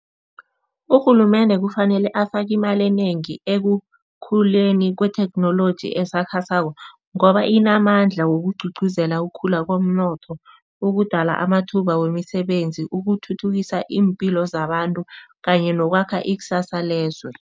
Urhulumende kufanele afake imali enengi ekukhuleni kwetheknoloji esakhasako, ngoba inamandla wokugcugcuzela ukukhula komnotho, ukudala amathuba wemisebenzi, ukuthuthukisa iimpilo zabantu kanye nokwakha ikusasa lezwe.